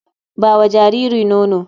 Ba wa jariri nono.